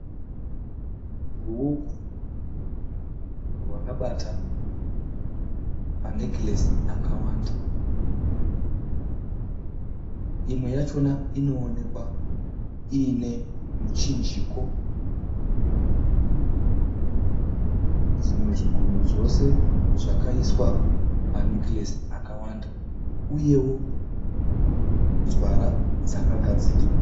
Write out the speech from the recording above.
Ruoko rwakabata manekiresi akawanda imwe yacho inoonekwa iinemuchinjiko, zvimwe zvigunwe zvose zvakaiswa manekiresi akawanda uyewo nzara dzakagadzirwa.